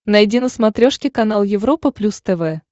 найди на смотрешке канал европа плюс тв